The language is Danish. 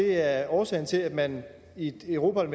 er årsagen til at man i europa